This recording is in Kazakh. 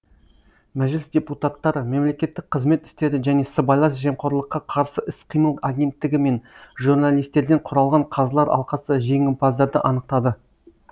мәжіліс депутаттары мемлекеттік қызмет істері және сыбайлас жемқорлыққа қарсы іс қимыл агенттігі мен журналистерден құралған қазылар алқасы жеңімпаздарды анықтады